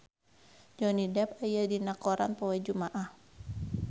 Johnny Depp aya dina koran poe Jumaah